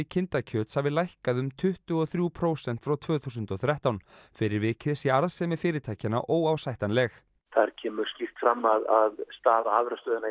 kindakjöts hafi lækkað um tuttugu og þrjú prósent frá tvö þúsund og þrettán fyrir vikið sé arðsemi fyrirtækjanna óásættanleg þar kemur skýrt fram að staða afurðastöðvanna í